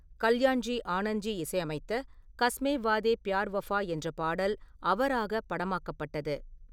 கல்யாண்ஜி ஆனந்த்ஜி இசையமைத்த “காஸ்மே வாதே பியார் வாஃபா” என்ற பாடல் அவராகப் படமாக்கப்பட்டது.